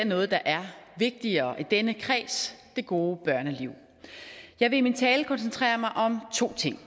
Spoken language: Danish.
noget der er vigtigere i denne kreds det gode børneliv jeg vil i min tale koncentrere mig om to ting